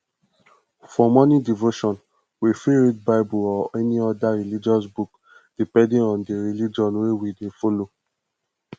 for morning devotion we fit read bible or any oda religious book depending on di religion wey we dey follow